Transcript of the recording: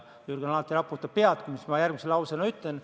Jürgen alati raputab pead, kui ma ütlen seda, mis ma järgmise lausena ütlen.